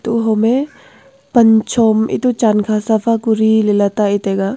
ho hom me pan chom etoh chan kha safa kori ley let te ga.